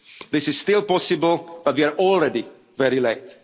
very soon. This is still possible, but we are already